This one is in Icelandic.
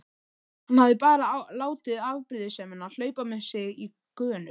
Hann hafði bara látið afbrýðisemina hlaupa með sig í gönur.